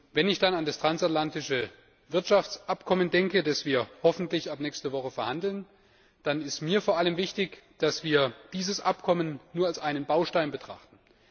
Wenn ich dann an das transatlantische Wirtschaftsabkommen denke, das wir hoffentlich ab nächster Woche verhandeln, dann ist mir vor allem wichtig, dass wir dieses Abkommen nur als einen Baustein betrachten.